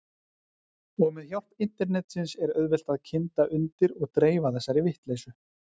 Og með hjálp internetsins er auðvelt að kynda undir og dreifa þessari vitleysu.